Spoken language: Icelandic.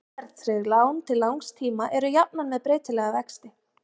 Óverðtryggð lán til langs tíma eru jafnan með breytilega vexti.